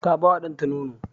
Ta ba wa ɗanta nono.